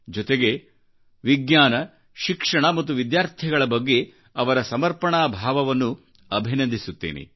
ಜೊತೆಗೆ ವಿಜ್ಞಾನ ಶಿಕ್ಷಣ ಮತ್ತು ವಿದ್ಯಾರ್ಥಿಗಳ ಬಗ್ಗೆ ಅವರ ಸಮರ್ಪಣಾ ಭಾವವನ್ನು ಅಭಿನಂದಿಸುತ್ತೇನೆ